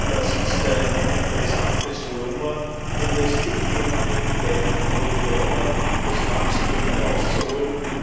Das ist ein interessantes Volumen, und es liegt nun an den beteiligten Regionen, das Maximum herauszuholen.